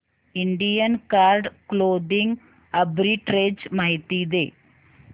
Indian card clothing arbitrage माहिती दे